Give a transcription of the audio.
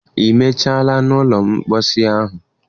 Ị mechaala na ụlọ mposi ahụ?